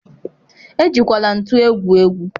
ejikwala ntu egwu egwu.